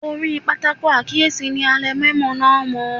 Orí pátákó àkíyèsí ni a lẹ mẹ́mò náà mọ́.